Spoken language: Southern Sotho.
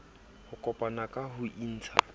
ho kopana ka ho intsha